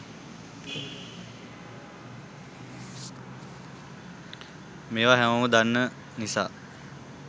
මේවා හැමෝම දන්න නිසා